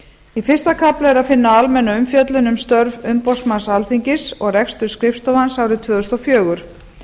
í fyrsta kafla er að finna almenna umfjöllun um störf umboðsmanns alþingis og rekstur skrifstofu hans árið tvö þúsund og fjögur